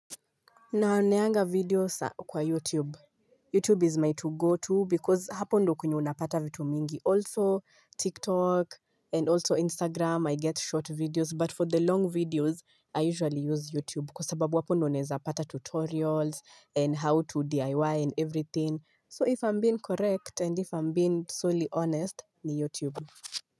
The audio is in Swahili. Naoneanga video kwa YouTube, YouTube is my to go to because hapo ndo kwenye unapata vitu mingi, also TikTok and also Instagram, I get short videos but for the long videos, I usually use YouTube kwa sababu apo ndo naeza pata tutorials and how to DIY and everything, so if I'm being correct and if I'm being solely honest, ni YouTube.